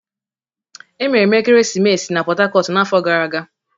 Emere m ekeresimesi na Port Harcourt n'afọ gara aga.